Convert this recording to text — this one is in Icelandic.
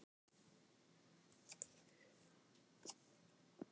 Sá sem á í vandræðum á þau líka skilin vegna fyrri gerða.